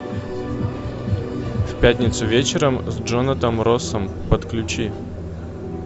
в пятницу вечером с джонатаном россом подключи